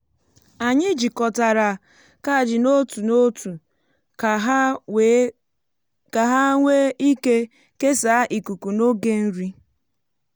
anyị jikọtara kajii n’otu otu ka ha nwee ike kesaa ikuku na oge nri.